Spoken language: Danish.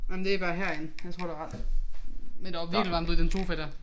Jamen det bare herinde jeg tror der ret men der var virkelig varmt ude i den sofa dér